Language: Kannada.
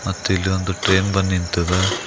ಮತ್ತೆ ಇಲ್ಲಿ ಒಂದು ಟ್ರೈನ್ ಬಂದ್ ನಿಂತದ.